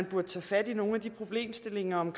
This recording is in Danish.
burde tage fat i nogle af de problemstillinger om